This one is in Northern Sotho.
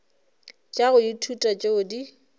tša go ithuta tšeo di